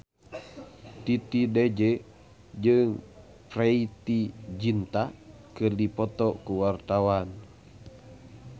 Titi DJ jeung Preity Zinta keur dipoto ku wartawan